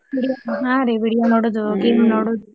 ಹಾ ರೀ video ನೋಡೋದು game ನೋಡೋದು.